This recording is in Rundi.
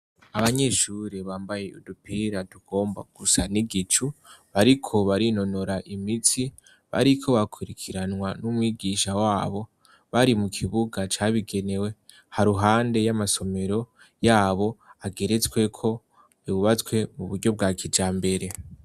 abanyeshure bambaye udupira tugomba gusa n'igicu bariko barinonora imitsi bariko bakurikiranwa n'umwigisha wabo bari mu kibuga cabigenewe ha ruhande y'amasomero yabo ageretsweko yubatswe mu buryo bwa kijambere